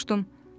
Soruşdum: